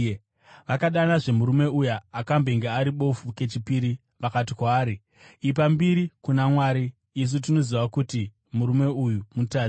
Vakadanazve murume uya akambenge ari bofu kechipiri. Vakati kwaari, “Ipa mbiri kuna Mwari. Isu tinoziva kuti murume uyu mutadzi.”